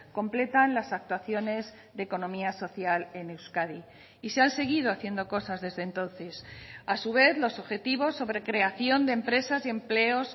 completan las actuaciones de economía social en euskadi y se han seguido haciendo cosas desde entonces a su vez los objetivos sobre creación de empresas y empleos